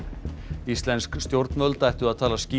íslensk stjórnvöld ættu að tala skýrar